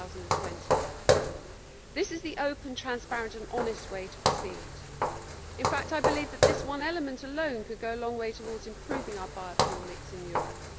2020. This is the open, transparent and honest way to proceed. In fact, I believe that this one element alone could go a long way towards improving our biofuel mix in Europe.